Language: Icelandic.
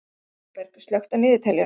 Þorberg, slökktu á niðurteljaranum.